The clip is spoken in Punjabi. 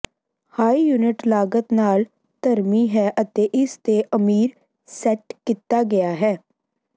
ਹਾਈ ਯੂਨਿਟ ਲਾਗਤ ਨਾਲ ਧਰਮੀ ਹੈ ਅਤੇ ਇਸ ਦੇ ਅਮੀਰ ਸੈੱਟ ਕੀਤਾ ਗਿਆ ਹੈ